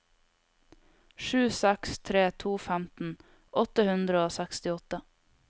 sju seks tre to femten åtte hundre og sekstiåtte